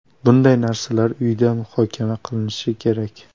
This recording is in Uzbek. Bunday narsalar uyda muhokama qilinishi kerak.